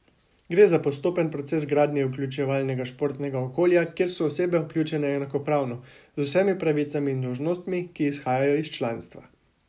Gre za postopen proces gradnje vključevalnega športnega okolja, kjer so osebe vključene enakopravno, z vsemi pravicami in dolžnostmi, ki izhajajo iz članstva.